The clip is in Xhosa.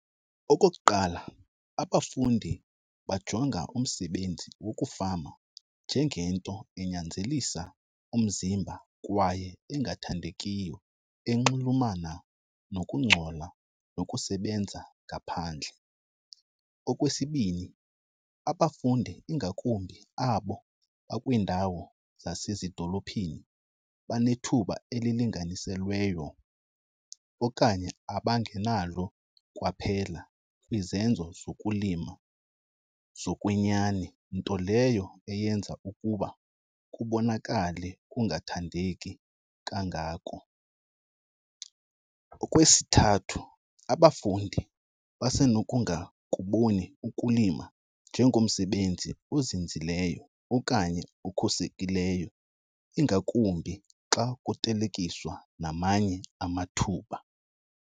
Okokuqala, abafundi bajonga umsebenzi wokufama njengento enyanzelisa umzimba kwaye engathandekiyo enxulumana nokungcola nokusebenza ngaphandle. Okwesibini, abafundi ingakumbi abo bakwiindawo zasezidolophini banethuba elilinganiselweyo okanye abangenalo kwaphela kwizenzo zokulima zokwenyani, nto leyo eyenza ukuba kubonakale kungathandeki kangako. Okwesithathu, abafundi basenokungakuboni ukulima njengomsebenzi ozinzileyo okanye okhuselekileyo, ingakumbi xa kuthelekiswa namanye amathuba.